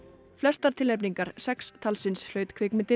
flestar tilnefningar sex talsins hlaut kvikmyndin